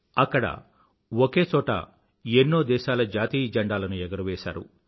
అక్కడ ఒకేచోట ఎన్నో దేశాల జాతీయ జండాలను ఎగురవేశారు